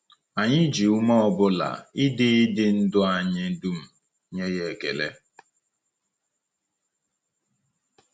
Anyị ji ume ọ bụla, ịdị ịdị ndụ anyị dum, nye ya ekele.